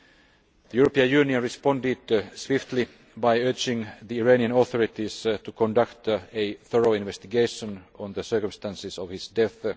The European Union responded swiftly by urging the Iranian authorities to conduct a thorough investigation into the circumstances of his death.